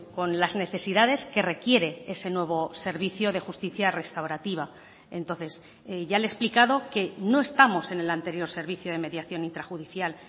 con las necesidades que requiere ese nuevo servicio de justicia restaurativa entonces ya le he explicado que no estamos en el anterior servicio de mediación intrajudicial